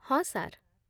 ହଁ, ସାର୍